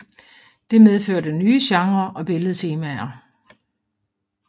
Det medførte nye genrer og billedtemaer